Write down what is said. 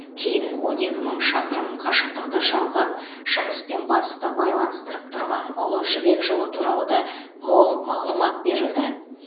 кейін он екі мың шақырым қашықтықты жалғап шығыс пен батысты байланыстырып тұрған ұлы жібек жолы туралы да мол мағлұмат берілді